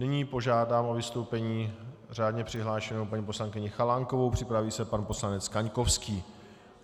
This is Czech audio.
Nyní požádám o vystoupení řádně přihlášenou paní poslankyni Chalánkovou, připraví se pan poslanec Kaňkovský.